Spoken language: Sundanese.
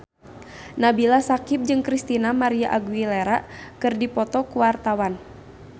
Nabila Syakieb jeung Christina María Aguilera keur dipoto ku wartawan